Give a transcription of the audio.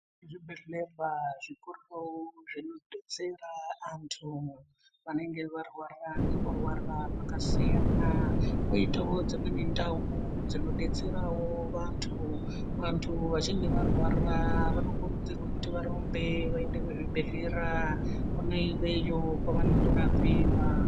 Zvibhedhlera zvikuru zvinodetsera antu vanenga varwara nekurwara kwakasiyana kwoitawo dzimweni ndau dzinodetserawo vantu . Vantu vachinge varwara vanokurudzirwa kuti varumbe vaende kuzvibhedhlera kwona iyoyo kwavanorapiwa.